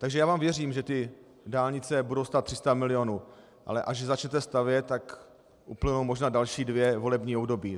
Takže já vám věřím, že ty dálnice budou stát 300 milionů, ale až začnete stavět, tak uplynou možná další dvě volební období.